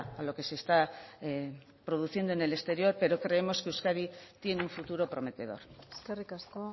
a lo que se está produciendo en el exterior pero creemos que euskadi tiene un futuro prometedor eskerrik asko